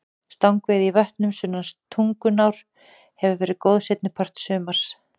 Stangveiði í vötnum sunnan Tungnár hefur verið góð seinni part sumars.